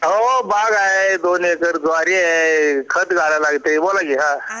हो बाग आहे दोन एकर ज्वारी आहे खत घालायया लागत बोला कि हा